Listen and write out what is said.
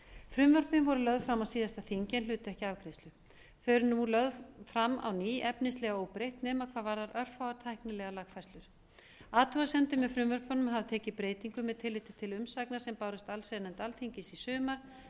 frumvörpin voru lögð fram á síðasta þingi en hlutu ekki afgreiðslu þau eru nú lögð fram á ný efnislega óbreytt nema hvað varðar örfáar tæknilegar lagafærslur athugasemdir með frumvörpunum hafa tekið breytingum með tilliti til umsagna sem bárust allsherjarnefnd alþingis í sumar